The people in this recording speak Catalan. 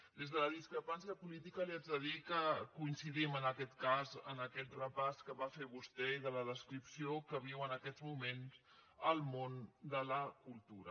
des de la discrepància política li haig de dir que coincidim en aquest cas en aquest repàs que va fer vostè de la descripció que viu en aquests moments el món de la cultura